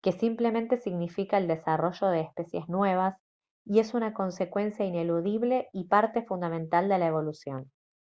que simplemente significa el desarrollo de especies nuevas y es una consecuencia ineludible y parte fundamental de la evolución